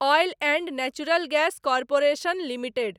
oil and natural gas corporation limited